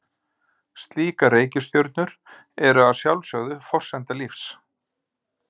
Slíkar reikistjörnur eru að sjálfsögðu forsenda lífs.